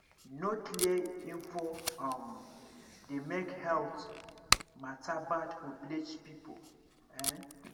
no clear info um dey make health matter bad for village people ehn